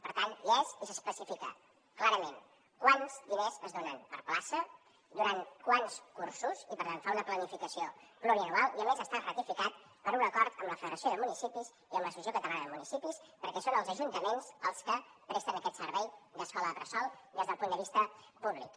per tant hi és i s’especifica clarament quants diners es donen per plaça durant quants cursos i per tant fa una planificació plurianual i a més està ratificat per un acord amb la federació de municipis i amb l’associació catalana de municipis perquè són els ajuntaments els que presten aquest servei d’escola bressol des del punt de vista públic